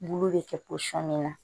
Bulu bɛ kɛ pɔsɔni na